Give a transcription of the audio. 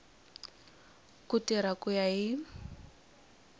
ku tirha ku ya hi